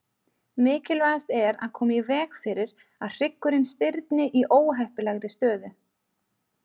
Mikilvægast er að koma í veg fyrir að hryggurinn stirðni í óheppilegri stöðu.